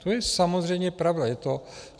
To je samozřejmě pravda.